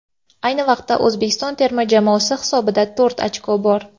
Ayni vaqtda O‘zbekiston terma jamoasi hisobida to‘rt ochko bor.